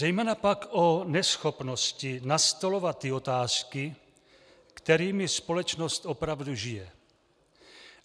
Zejména pak o neschopnosti nastolovat ty otázky, kterými společnost opravdu žije.